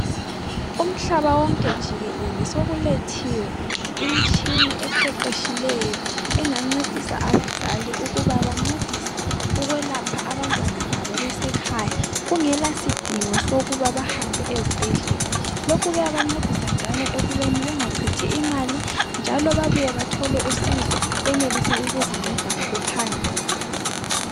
Umhlaba wonke jikelele sokulethiwe imtshina eqeqetshileyo engancedisa abazali ukuba bancedise abantwana babo besekhaya kungela sidingo sokuba bahambe ezibhedlela lokhu kuyabancedisa njalo ukubeni bengacithi imali njalo babuye bathole usizo benelise ukuzinceda ngokuphangisa.